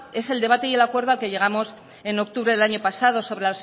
es el debate y el acuerdo al que llegamos en octubre del años pasado sobre